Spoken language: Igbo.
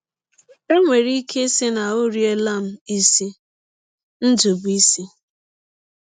E nwere ike ịsị na ọ riela m isi. ”— Ndụbụisi.